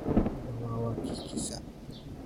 Hadda, waa wakiilkiisa.